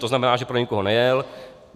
To znamená, že pro nikoho nejel.